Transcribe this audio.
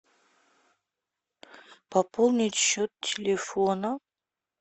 пополнить счет телефона